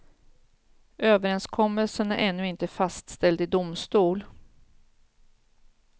Överenskommelsen är ännu inte fastställd i domstol.